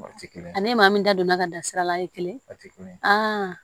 Ni maa min da donna ka dan sira la a ye kelen a tɛ kelen ye